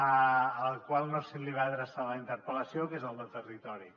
al qual no se li va adreçar la interpel·lació que és el de territori